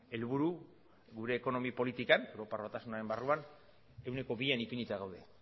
helburu gure ekonomia politikan europar batasunaren barruan ehuneko bian ipinita gaude